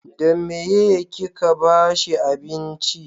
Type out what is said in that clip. da meye ki ka bashi abinci?